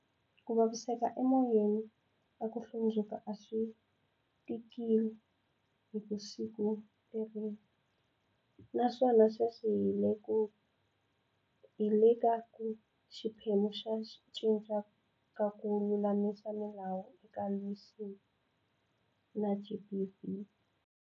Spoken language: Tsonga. Ku vaviseka emoyeni na ku hlundzuka a swi tikile hi siku leriya. Naswona sweswi hi le ka xiphemu xa ku cinca ka ku lulamisa milawu eka ku lwisana na, GBV.